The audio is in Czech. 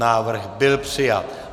Návrh byl přijat.